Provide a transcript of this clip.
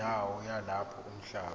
wendawo yalapho umhlaba